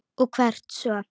Og hvert svo?